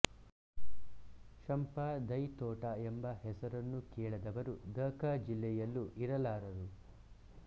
ಶಂಪಾ ದೈತೋಟ ಎಂಬ ಹೆಸರನ್ನು ಕೇಳದವರು ದ ಕ ಜಿಲ್ಲೆಯಲ್ಲೂ ಇರಲಾರರು